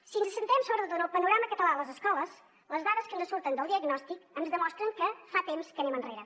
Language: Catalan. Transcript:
si ens centrem sobretot en el panorama català a les escoles les dades que ens surten del diagnòstic ens demostren que fa temps que anem enrere